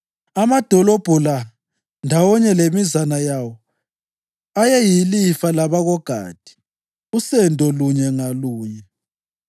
Amadolobho la ndawonye lemizana yawo ayeyilifa labakoGadi; usendo lunye ngalunye.